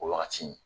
O wagati